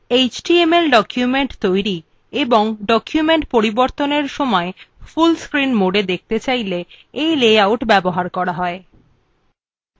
html documents তৈরী এবং documents পরিবর্তনের সময় full screen mode দেখতে চাইলে এই লেআউট ব্যবহার করা হয়